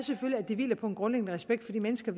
at det hviler på en grundlæggende respekt for de mennesker